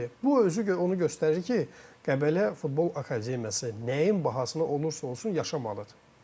Bəli, bu özü onu göstərir ki, Qəbələ Futbol Akademiyası nəyin bahasına olursa olsun yaşamalıdır.